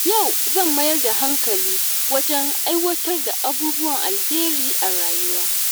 Yau zan mayar da hankali wajen aiwatar da abubuwan alheri a rayuwa.